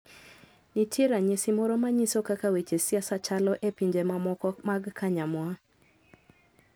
Nitie ranyisi moro manyiso kaka weche siasa chalo e pinje mamoko magkanyamwa.